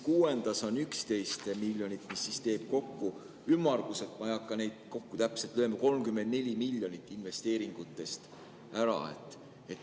Kuuendas on 11 miljonit ja see teeb kokku ümmarguselt – ma ei hakka täpselt kokku lööma – 34 miljonit investeeringutest ära.